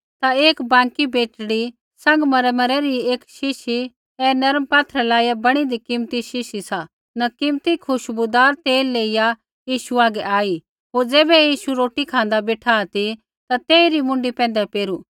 ता एक बाँकी बेटड़ी सँगमरमरै री एक शीशी ऐ नर्म पात्थरै लाईया बणीदी कीमती शीशी सा न कीमती खुशबूदार तेल लेइया यीशु हागै आई होर ज़ैबै यीशु रोटी खाँदा बेठा ती ता तेइरी मुँडी पैंधै पेरू